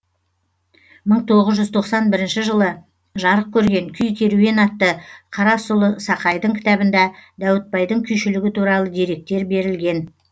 мың тоғыз жүз тоқсан бірінші жылы жарық көрген күй керуен атты қарасұлы сақайдың кітабында дәуітбайдың күйшілігі туралы деректер берілген